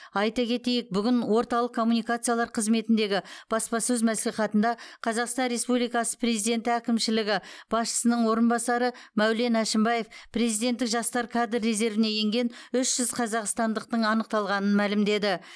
айта кетейік бүгін орталық коммуникациялар қызметіндегі баспасөз мәслихатында қазақстан республикасы президенті әкімшілігі басшысының орынбасары мәулен әшімбаев президенттік жастар кадр резервіне енген үш жүз қазақстандықтың анықталғанын мәлімдеді